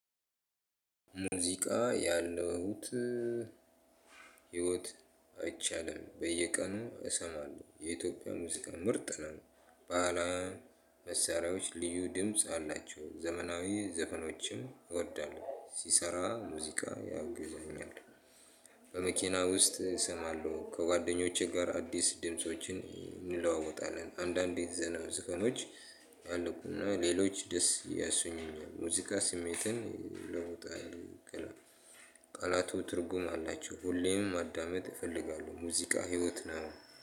ሙዚቃ ያለውት ህይወት አይቻልም በየቀኑ እሰማለሁ የኢትዮጵያ ሙዚቃ ምርጥ ነው። ባህላዊ መሳሪያወች ልዩ ድምጽ አላቸው ዘመናዊ ዘፈኖችን እወዳለሁ ስሰራ ሙዚቃ ያግዘኛል። በመኪና ከውስጥ አሰማለሁ ከጓደኞቼ ጋር አዲስ ድምፆችን አንለዋወጣለን አንዳንዴ ዘፈኖች ያለቁና ሌሎች ደስ ያሰኙኛል ሙዚቃ ስሜትን ይለውጣል። ቃላቱ ትርጉም አላቸው ሁሌም ማዳመጥ እፈልጋለሁ ሙዚቃ ህይወት ነው